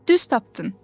Düz tapdın.